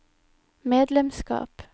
medlemskap